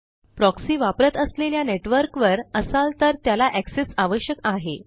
proxy वापरत असलेल्या network वर असाल तर त्याला एक्सेस आवश्यक आहे